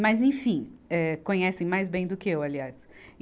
Mas, enfim, eh, conhecem mais bem do que eu, aliás. e